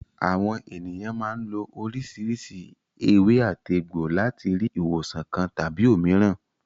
Àwọn ènìyàn máa ń lo oríṣiríṣi ewé-àtegbò láti rí ìwòsàn kan tàbí òmíràn.